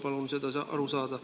Ma tahaks sellest aru saada.